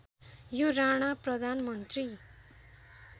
यो राणा प्रधानमन्त्री